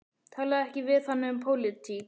Talaðu ekki við hana um pólitík.